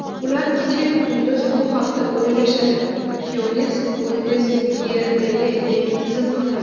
ular kechayu kunduz bu haqida o‘ylashadi – Xyoness Bundesligadagi yangi tizim haqida.